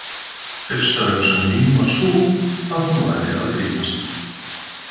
Fyrsta hugsun mín var sú, að hún væri að grínast.